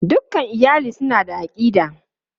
Dukan iyali suna da aƙida.